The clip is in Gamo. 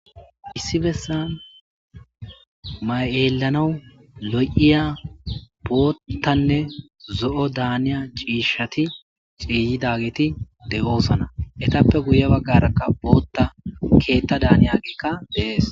Issi besani elanaw lo'iya boothanne zo'o daniya ciishati ciiyidageti de'iya, etappe guye bagaraka boota keeta daniyabika de'esi.